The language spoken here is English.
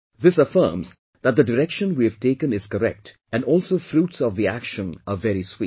This affirms that the direction we have taken is correct and also fruits of the action are very sweet